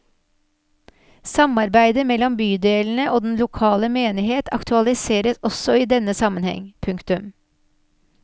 Samarbeidet mellom bydelene og den lokale menighet aktualiseres også i denne sammenheng. punktum